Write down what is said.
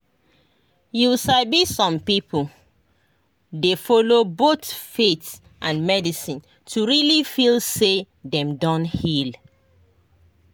you sabi some people dey follow both faith and medicine to really feel say dem don heal.